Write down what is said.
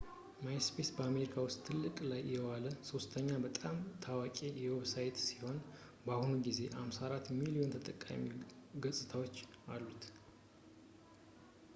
ማይስፔስ በአሜሪካ ውስጥ ጥቅም ላይ የዋለው ሶስተኛ በጣም ታዋቂ ዌብሳይት ሲሆን በአሁኑ ጊዜ 54 ሚሊዮን የተጠቃሚ ገጽታዎች አሉት